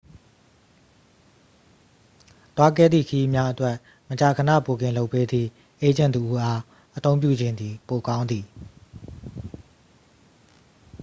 သွားခဲ့သည့် ခရီးများအတွက် မကြာခဏ ဘွတ်ကင်လုပ်ပေးသည့် အေးဂျင့်တစ်ဦးအား အသုံးပြုခြင်းသည် ပိုကောင်းသည်